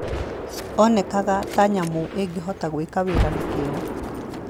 Onekaga ta nyamũ ĩngĩhota gwĩka wĩra na kĩyo.